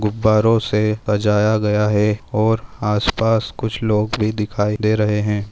गुब्बारों से सजाया गया है और आस पास कुछ लोग भी दिखाई दे रहे है।